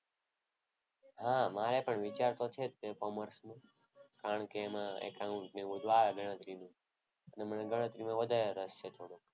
હા મારે તો વિચાર છે જ તે કોમર્સનો. કારણ કે એમાં એકાઉન્ટ એવું બધું આવે ગણતરીનું અને મને ગણતરીમાં વધારે રસ છે થોડો.